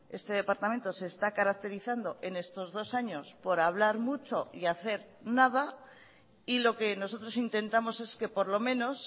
este departamento se está caracterizando en estos dos años por hablar mucho y hacer nada y lo que nosotros intentamos es que por lo menos